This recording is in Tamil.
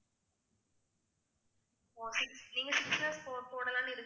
oaky நீங்க six lakhs போடலாம்னு